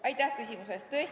Aitäh küsimuse eest!